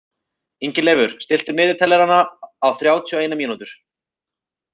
Ingileifur, stilltu niðurteljara á þrjátíu og eina mínútur.